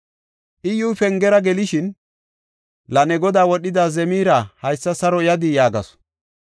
Iyyuy pengera gelishin, “La ne godaa wodhida Zemira haysa saro yadii?” yaagasu.